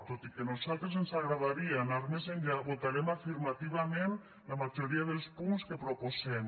tot i que a nosaltres ens agradaria anar més enllà votarem afirmativament la majoria dels punts que proposen